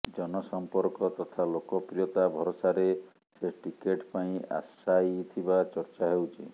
ଜନସଂପର୍କ ତଥା ଲୋକପ୍ରିୟତା ଭରସାରେ ସେ ଟିକେଟ ପାଇଁ ଆଶାୟୀ ଥିବା ଚର୍ଚା ହେଉଛି